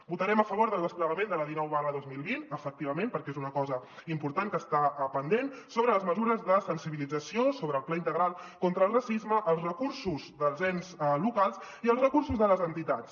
votarem a favor del desplegament de la dinou dos mil vint efectivament perquè és una cosa important que està pendent sobre les mesures de sensibilització sobre el pla integral contra el racisme els recursos dels ens locals i els recursos de les entitats